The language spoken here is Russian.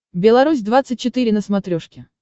белорусь двадцать четыре на смотрешке